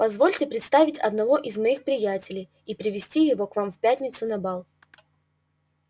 позвольте представить одного из моих приятелей и привезти его к вам в пятницу на бал